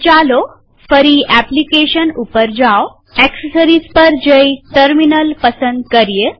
તો ચાલો ફરી એપ્લીકેશન gtએક્સેસરીઝ પર જઈ ટર્મિનલ પસંદ કરીએ